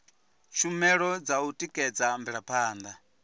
tshumelo dza u tikedza mvelaphanda